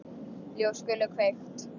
Ljós skulu kveikt.